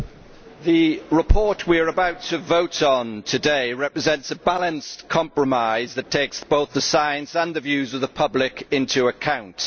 Madam President, the report we are about to vote on today represents a balanced compromise that takes both the science and the views of the public into account.